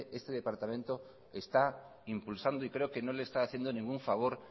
este departamento está impulsado y creo que no le está haciendo ningún favor